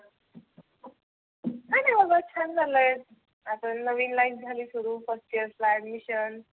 काही नाही बाबा छान चाललाय. आता नविन लाईफ झाली सुरु फर्स्ट इयर ला admission